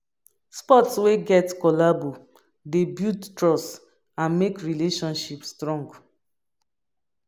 Sport wey get collabo dey build trust and make relationship strong